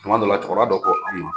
Tuma dɔ la, cɛkɔrɔba dɔ ko an ma.